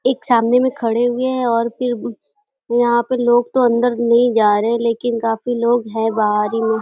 एक सामने में खड़े हुए हैं और फिर यहाँ पर लोग अन्दर तो नहीं जा रहे हैं लेकिन काफी लोग हैं बाहर ही में --